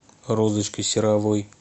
розочкой серовой